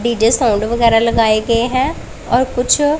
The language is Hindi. डी_जे साउंड वगैरा लगाए गए हैं और कुछ--